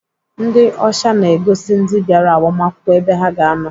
Ndị ọsha na-egosi ndị bịara agbamakwụkwọ ebe ha ga-anọ.